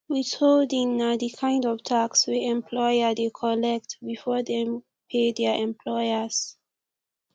withholding na di kind of tax wey employer dey collect before dem pay their employers